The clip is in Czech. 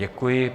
Děkuji.